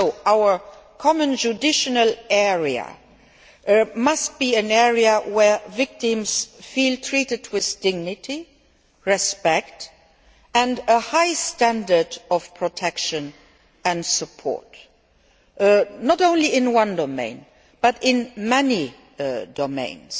Our common judicial area must be an area where victims feel treated with dignity, respect and a high standard of protection and support, not only in one domain but in many domains.